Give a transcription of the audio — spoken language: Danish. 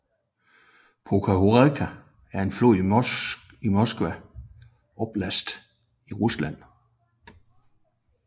Pekhórka er en flod i Moskva oblast i Rusland